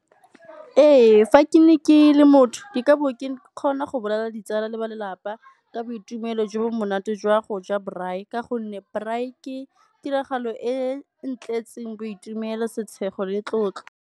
Ee, fa ke ne ke le motho ke ka bo ke kgona go bolelela ditsala le ba lelapa ka boitumelo jo bo monate jwa go ja braai, ka gonne braai ke tiragalo e ntletseng boitumelo, setshego le tlotlo.